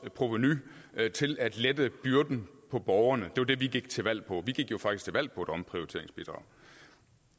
provenu til at lette byrden for borgerne det var det vi gik til valg på vi gik jo faktisk til valg på et omprioriteringsbidrag